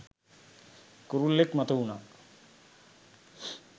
කුරුල්ලෙක් මතුවුණා.